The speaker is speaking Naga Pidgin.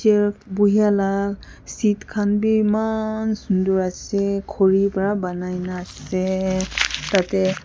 uh buihey la seat khan bhi eman sundur ase khori para banai nah ase tatey--